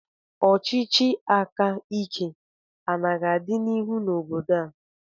Ọchịchị aka ike ana-aga n'ihu na obodo a?